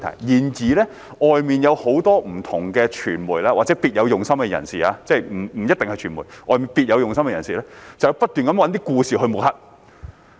然而，外面有很多不同的傳媒或者別有用心的人士——即不一定是傳媒，外面別有用心的人士——會不斷找一些故事來抹黑。